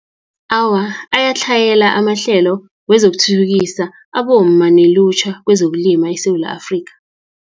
Awa, ayatlhayela amahlelo, wezokuthuthukisa abomma, nelutjha kwezokulima eSewula Afrika.